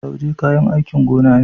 Lauje kayan aikin gona ne.